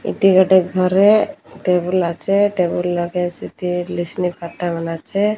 ଏତି ଗୋଟେ ଘରେ ଟେବୁଲ୍ ଅଛେ। ଟେବୁଲ୍ ଲଗେ ସେଠି ଲିସନି ପାତା ମାନେ ଅଛେ।